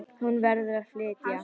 Hún verður að flytja.